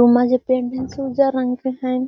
रोमा जे पेंट है से उज्जर रंग के है।